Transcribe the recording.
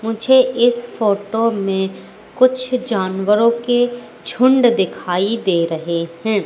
मुझे इस फोटो में कुछ जानवरों के झुंड दिखाई दे रहे हैं।